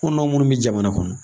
Anw dɔw munnu bɛ jamana kɔnɔ.